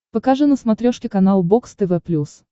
покажи на смотрешке канал бокс тв плюс